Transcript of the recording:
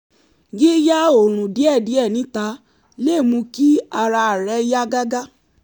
yíyá oòrun díẹ̀díẹ̀ níta lè mú kí ara rẹ yá gágá